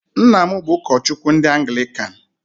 Nna m bụ ụkọchukwu ndị anglikan.